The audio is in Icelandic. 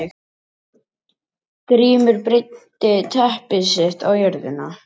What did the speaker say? Grímur og breiddi teppi sitt á jörðina.